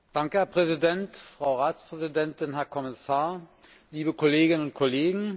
Herr Präsident, Frau Ratspräsidentin, Herr Kommissar, liebe Kolleginnen und Kollegen!